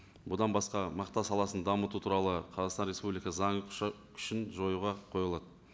бұдан басқа мақта саласын дамыту туралы қазақстан республика заң күшін жоюға қойылады